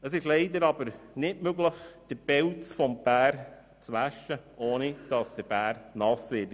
Es ist aber leider nicht möglich, den Pelz des Bären zu waschen, ohne dass er nass wird.